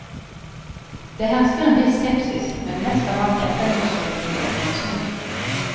Det hersker en viss skepsis, men mest av alt etterlyser de informasjon.